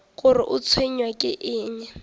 gore o tshwenywa ke eng